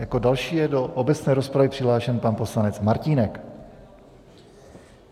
Jako další je do obecné rozpravě přihlášen pan poslanec Martínek.